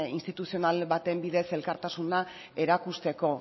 instituzional baten bidez elkartasuna erakusteko